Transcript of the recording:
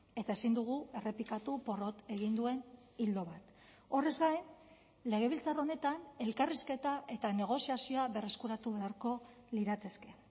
eta ezin dugu errepikatu porrot egin duen ildo bat horrez gain legebiltzar honetan elkarrizketa eta negoziazioa berreskuratu beharko lirateke